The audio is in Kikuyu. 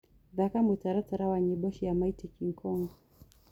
thaka mũtaratara wa nyĩmbo wa mighty kingkong